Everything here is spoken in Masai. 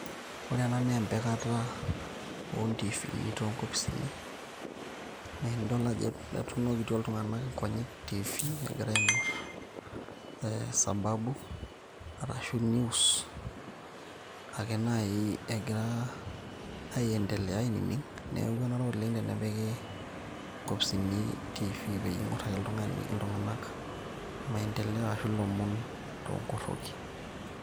ore ena naa empikata ontifini tonkopisini neenidol ajo etunokitio iltung'anak inkonyek tifi egira aing'orr e sababu arashu news ake naaji egira aiendeleya ainining neeku enare oleng tenepiki inkopisini tifi peyie ing'orr ake oltung'ani iltung'anak maendeleo ashu ilomon toonkorroki.